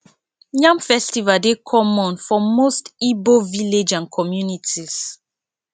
yam festival dey common for most igbo village and communities